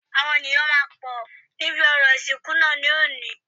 Àwọn ènìyàn máa pọ̀ níbi orò ìsìnkú náà ní òní